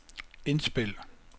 indspil